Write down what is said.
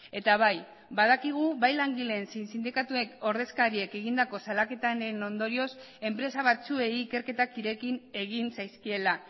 eta bai badakigu bai langileen zein sindikatuen ordezkariek egindako salaketaren ondorioz enpresa batzuei ikerketa ireki egin zaizkiela